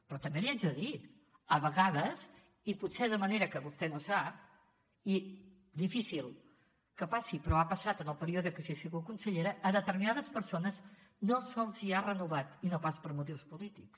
però també li haig de dir a vegades i potser de manera que vostè no sap i difícil que passi però ha passat en el període que jo he sigut consellera a determinades persones no se’ls ha renovat i no pas per motius polítics